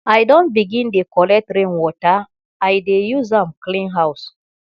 i don begin dey collect rain water i dey use am clean house